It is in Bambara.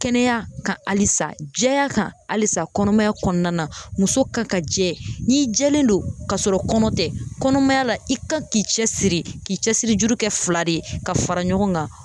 Kɛnɛya kan halisa , jɛya kan halisa kɔnɔmaya kɔnɔna, muso ka kan jɛ, n'i jɛlen don k'a sɔrɔ kɔnɔ tɛ ,kɔnɔmaya la , i kan k'i cɛ siri k'i cɛsiri juru kɛ fila de ye ka fara ɲɔgɔn kan.